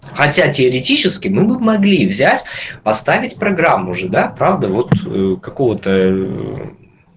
хотя теоретически мы бы могли взять поставить программу же да правда вот какого-то